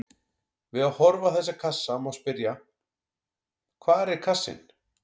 Við að horfa á þessa kassa má spyrja: hvar er kassinn?